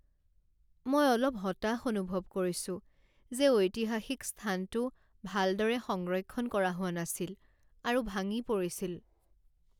মই অলপ হতাশ অনুভৱ কৰিছো যে ঐতিহাসিক স্থানটো ভালদৰে সংৰক্ষণ কৰা হোৱা নাছিল আৰু ভাঙি পৰিছিল।